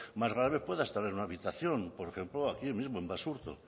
más grave pueda estar en una habitación por ejemplo aquí mismo en basurto